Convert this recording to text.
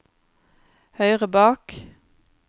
høyre bak